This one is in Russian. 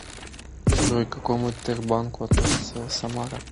джой к какому тербанку относится самара